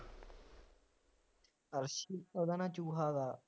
ਅੱਰਸ਼ ਉਹਦਾ ਨਾਮ ਚੂਹਾ ਵਾ